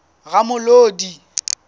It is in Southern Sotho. ramolodi